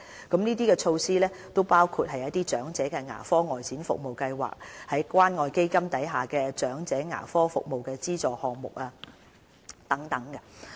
這些措施包括長者牙科外展服務計劃、關愛基金"長者牙科服務資助"項目等。